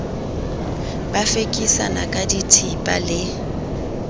ba fekisana ka dithipa le